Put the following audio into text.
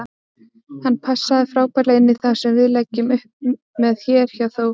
Hann passar frábærlega inní það sem við leggjum upp með hér hjá Þór.